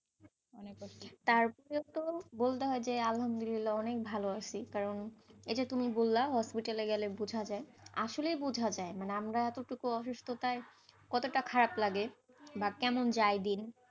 তার থেকেও বলতে হয় যে আহলদুমিল্লাহ অনেক ভালো আছি, কারণ এই যে তুমি বল্লা hospital গেলে বুঝা যায়, আসলে বুঝা যায়, মানে আমরা তো এতটুকু অসুস্থতায়, কতটা খারাপ লাগে, বা কেমন যায় দিন,